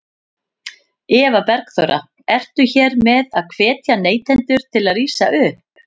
Eva Bergþóra: Ertu hér með að hvetja neytendur til að rísa upp?